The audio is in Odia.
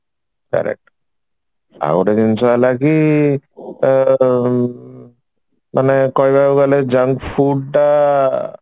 correct ଆଉ ଗୋଟେ ଜିନିଷ ହେଲା କି ଆଁ ମାନେ କହବାକୁ ଗଲେ junk food ଟା